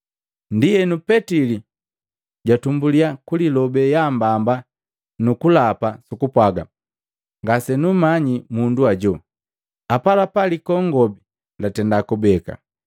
Ndienu petili jatumbuliya kulilobe yaambamba nukulapa sukupwaga, “Ngasenumanyi mundu ajo!” Apalapa likongobi latenda kubeka.